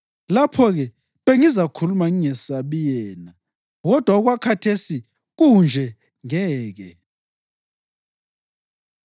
Lapho-ke bengizakhuluma ngingesabi yena, kodwa okwakhathesi kunje, ngeke.”